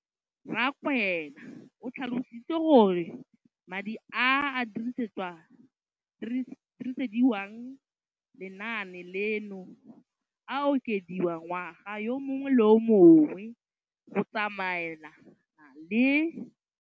Rakwena o tlhalositse gore madi a a dirisediwang lenaane leno a okediwa ngwaga yo mongwe le yo mongwe go tsamaelana le